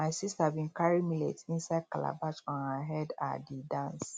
my sister bin carry millet inside calabash on her head um dey dance